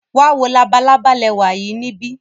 Wa wo labalaba lẹwa yii nibi.